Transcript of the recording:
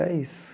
É isso.